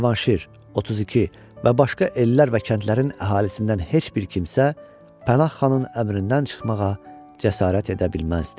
Cavanşir, 32 və başqa ellər və kəndlərin əhalisindən heç bir kimsə Pənah xanın əmrindən çıxmağa cəsarət edə bilməzdi.